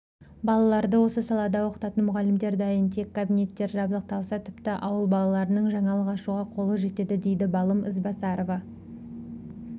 балаларды осы салада оқытатын мұғалімдер дайын тек кабинеттер жабдықталса тіпті ауыл балаларының жаңалық ашуға қолы жетеді дейді балым ізбасарова